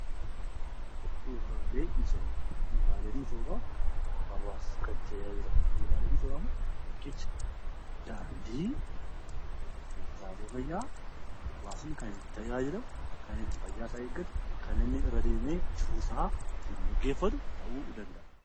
Bu'uuraaleen misoomaa hawaasa kan tajaajilan bu'uuraaleen misoomaa Kun riqicha , daandii, buufataalee gabaa hawaasni kan itti tajaajilamu kan itti fayyaa isaa eeggatu, kan inni irra deemee jiruusaa ittiin gaggeeffatu ta'uu danda'a.